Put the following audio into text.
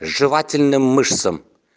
жевательным мышцам